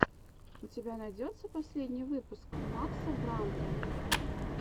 у тебя найдется последний выпуск макса брандта